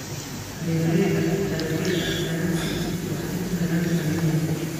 Beeralayda dalagyada ganacsigu waxay helaan faa'iido weyn.